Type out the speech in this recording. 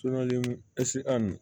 ɛsike a nin